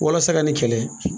Walasa ka nin kɛlɛ